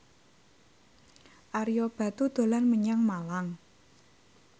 Ario Batu dolan menyang Malang